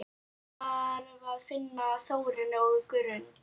Ég þarf að finna Þórunni á Grund!